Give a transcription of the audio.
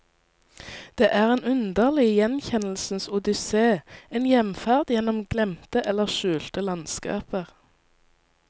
Det er en underlig gjenkjennelsens odysse, en hjemferd gjennom glemte eller skjulte landskaper.